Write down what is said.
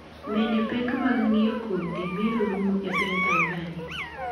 Bende pek mag ng’iewo kodhi biro rumo e piny Tanzania?